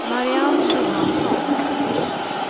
Marianne Johansson